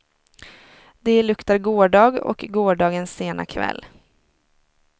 Det luktar gårdag och gårdagens sena kväll.